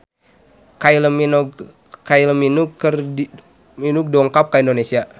Kylie Minogue dongkap ka Indonesia